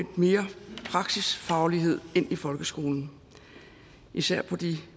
mere praksisfaglighed ind i folkeskolen især på